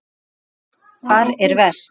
María Lilja: Hvar er verst?